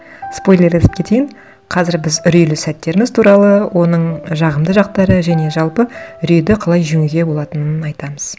спойлерлетіп кетейін қазір біз үрейлі сәттеріміз туралы оның жағымды жақтары және жалпы үрейді қалай жеңуге болатынын айтамыз